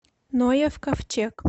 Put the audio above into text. ноев ковчег